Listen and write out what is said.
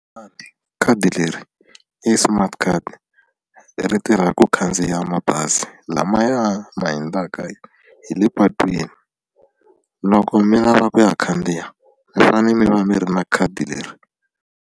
khadi leri i smartcard ri tirha ku khandziya mabazi lamaya ma hundzaka hi le patwini loko mi lava ku ya khandziya mi fane mi va mi ri na khadi leri.